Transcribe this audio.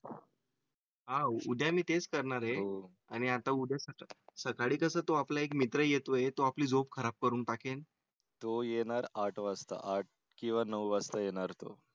नाही म्हणजे उद्या. येईलहा उद्या मी तेच करणार आहे आणि आता उद्या सकाळी तसं तो आपला एक मित्र येतोय तो आपली झोप खराब करून टाकेल. तो येणार आठ वाजता आठ किंवा नऊ वाजता येणार तो.